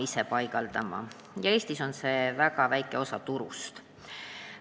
Eestis moodustab selline toodang väga väikese osa turust.